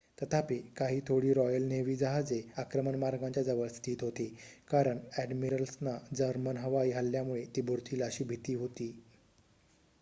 तथापि काही थोडी रॉयल नेव्ही जहाजे आक्रमण मार्गांच्या जवळ स्थित होती कारण अ‍ॅडमिरल्सना जर्मन हवाई हल्ल्यामुळे ती बुडतील अशी भीती होती